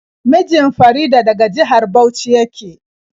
Mijin Farida daga jihar Bauchi yake.